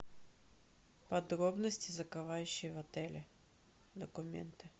подробности закрывающие в отеле документы